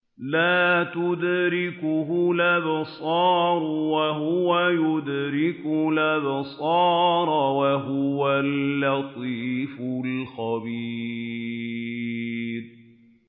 لَّا تُدْرِكُهُ الْأَبْصَارُ وَهُوَ يُدْرِكُ الْأَبْصَارَ ۖ وَهُوَ اللَّطِيفُ الْخَبِيرُ